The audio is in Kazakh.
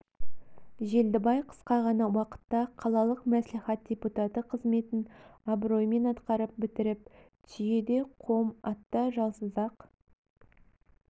желдібай қысқа ғана уақытта қалалық мәслихат депутаты қызметін абыроймен атқарып бітіріп түйеде қом атта жалсыз-ақ